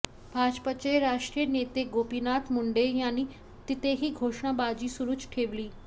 भाजपचे राष्ट्रीय नेते गोपीनाथ मुंडे यांनी तिथेही घोषणाबाजी सुरूच ठेवली